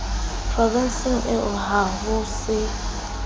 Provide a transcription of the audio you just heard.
provenseng eo ha ho se